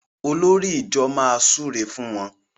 Olórí ìjọ má súré fún wón.